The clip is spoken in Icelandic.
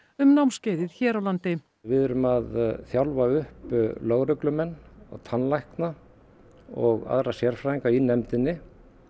um námskeiðið hér á landi við erum að þjálfa upp lögreglumenn og tannlækna og aðra sérfræðinga í nefndinni